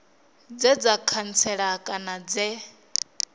dze dza khantsela kana dze